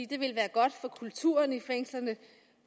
det ville være godt for kulturen i fængslerne